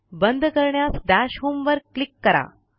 बंद करण्यास दश होम वर क्लिक करा